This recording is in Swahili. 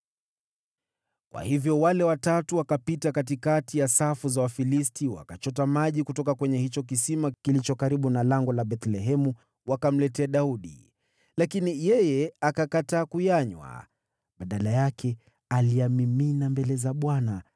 Kwa hivyo wale watatu, wakapita katikati ya safu za Wafilisti, wakachota maji kutoka kwa kisima kilicho karibu na lango la Bethlehemu, wakamletea Daudi. Lakini yeye akakataa kuyanywa. Badala yake, aliyamimina mbele za Bwana .